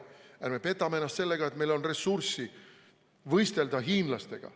Ärme petame ennast sellega, et meil on ressurssi võistelda hiinlastega.